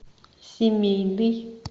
семейный